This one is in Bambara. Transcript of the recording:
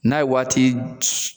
N'a ye waati